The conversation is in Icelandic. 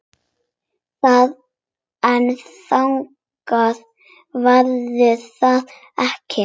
En þannig verður það ekki.